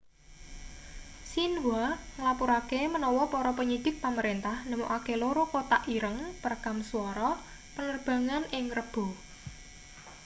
xinhua nglapurake menawa para penyidik pamerentah nemokake loro kotak ireng' perekam suara penerbangan ing rebo